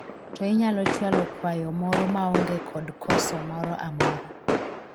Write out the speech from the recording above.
to inyalo chwalo kwayo moro maonge kod kosa moro amora